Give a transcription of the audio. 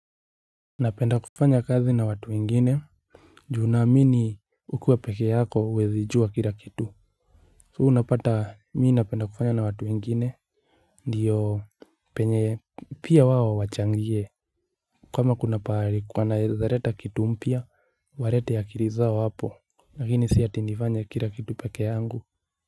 Napenda kufanya kazi na watu wengine juu naamini ukiwa peke yako huwezi jua kila kitu So unapata mi napenda kufanya na watu wengine Ndiyo penye pia wao wachangie kama kuna pahali wanaeza leta kitu mpya walete akili zao hapo Lakini si ati nifanye kila kitu peke yangu.